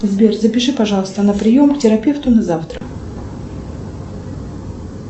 сбер запиши пожалуйста на прием к терапевту на завтра